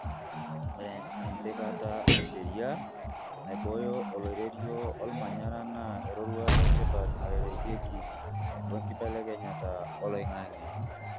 ore empikata esheria naiboyo oloirerio olmanyara na eroruata etipat narereki we nkibelekenyata oloingange.